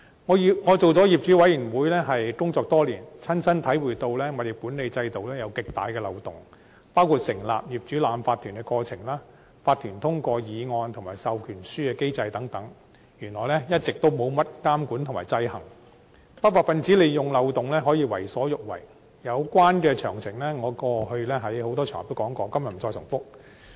我參與業主委員會工作多年，親身體會到物業管理制度存在極大漏洞，包括成立業主立案法團的過程、法團通過議案及授權書機制等，原來一直沒甚麼監管和制衡，不法分子利用漏洞為所欲為，有關的詳情，我過往在多個場合均有提及，今日不再重複。